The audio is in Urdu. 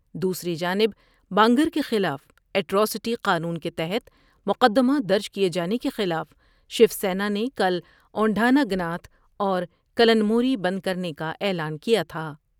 دوسری جانب با نگر کیخلاف ایٹر اسٹی قانون کے تحت مقدمہ درج کیے جانے کے خلاف شیوسینا نے کل اوندھانا گناتھ اور کلنموری بند کرنے کا اعلان کیا تھا ۔